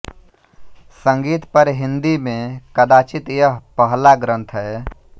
संगीत पर हिंदी में कदाचित् यह पहला ग्रंथ है